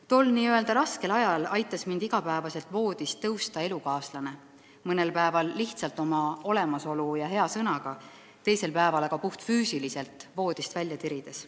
Tol n-ö raskel ajal aitas mul igapäevaselt voodist tõusta elukaaslane – mõnel päeval lihtsalt oma olemasolu ja hea sõnaga, teisel päeval aga mind puhtfüüsiliselt voodist välja tirides.